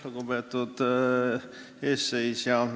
Lugupeetud eesistuja!